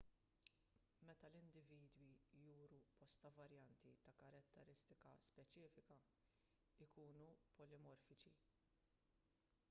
meta l-individwi juru bosta varjanti ta' karatteristika speċifika ikunu polimorfiċi